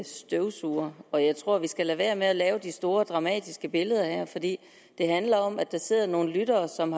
støvsuger og jeg tror at vi skal lade være med at lave de store dramatiske billeder her for det handler om at der sidder nogle lyttere som